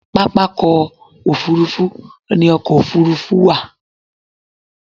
Pápákọ̀ òfúrufú ni ọkọ̀ òfúrufú wà